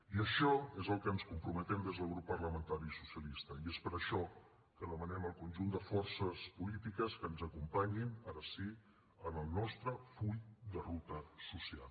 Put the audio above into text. i això és al que ens comprometem des del grup parlamentari socialista i és per això que demanem al conjunt de forces polítiques que ens acompanyin ara sí en el nostre full de ruta social